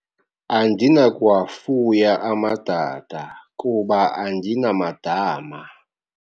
Andinakuwafuya amadada kuba andinamadama.